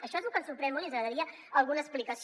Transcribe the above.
això és lo que ens sorprèn molt i ens agradaria alguna explicació